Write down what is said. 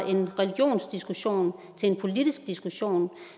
en religionsdiskussion til en politisk diskussion